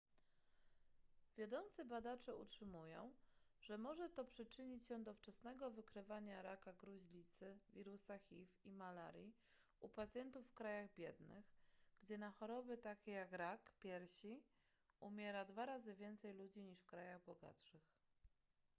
wiodący badacze utrzymują że może to przyczynić się do wczesnego wykrywania raka gruźlicy wirusa hiv i malarii u pacjentów w krajach biednych gdzie na choroby takie jak rak piersi umiera dwa razy więcej ludzi niż w krajach bogatszych